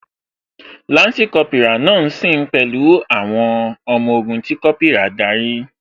Lansi Kópírà náà ṣe sìn pẹ̀lú àwọn ọmọ ogun tí Kópírà darí